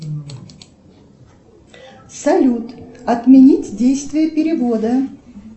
салют отменить действие перевода